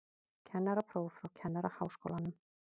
Kennarapróf frá Kennaraháskólanum